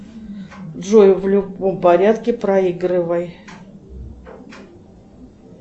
джой в любом порядке проигрывай